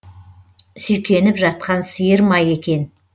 сүйкеніп жатқан сиыр ма екен